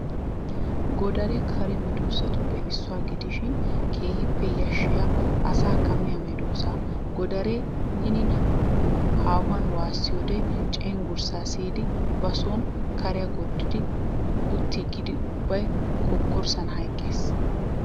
Godaree kare medoosatuppe issuwa gidishin keehippe yashshiya asaakka miya medoossa. Godare hinin haahuwan waasiyoodee cenggurssaa siyidi ba sooni kariya gorddi uttaagaara ubbay kokkorssan hayqqes.